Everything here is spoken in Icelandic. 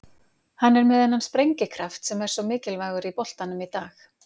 Hann er með þennan sprengikraft sem er svo mikilvægur í boltanum í dag.